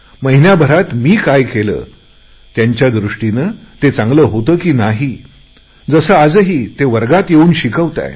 महिन्याभरात मी काय केले त्यांच्या दृष्टीने ते चांगले होते की नाही जसे आजही ते वर्गात येऊन शिकवत आहेत